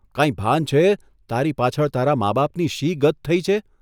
કાંઇ ભાન છે તારી પાછળ તારા મા બાપની શી ગત થઇ છે?